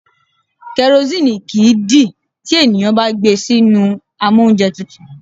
Karosíìnì kìí dì tí ènìyàn bá gbé e sínú amóúnjẹtutù.